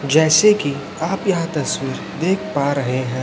जैसे कि आप यहां तस्वीर देख पा रहे है।